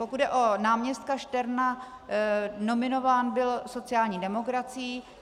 Pokud jde o náměstka Šterna, nominován byl sociální demokracií.